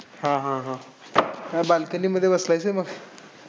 हां हां हां. Balcony मध्ये बसलायस का मग?